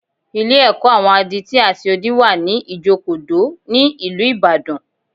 Ilé-ẹ̀kọ́ àwọn adití àti odi wà ní Ìjokòdó, ní ìlú Ìbàdàn